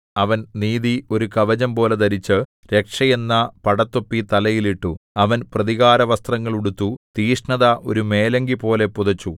അവൻ നീതി ഒരു കവചംപോലെ ധരിച്ചു രക്ഷ എന്ന പടത്തൊപ്പി തലയിൽ ഇട്ടു അവൻ പ്രതികാരവസ്ത്രങ്ങൾ ഉടുത്തു തീക്ഷ്ണത ഒരു മേലങ്കിപോലെ പുതച്ചു